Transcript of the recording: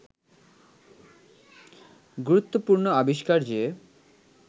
গুরুত্বপূর্ণ আবিষ্কার যে